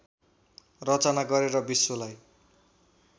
रचना गरेर विश्वलाई